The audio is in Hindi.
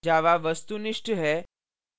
java वस्तुनिष्ठ object oriented है